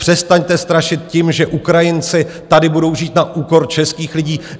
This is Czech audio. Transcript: Přestaňte strašit tím, že Ukrajinci tady budou žít na úkor českých lidí!